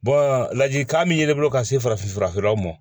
ladilikan min ye ne bolo ka se farafin furakɛlaw ma